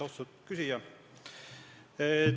Austatud küsija!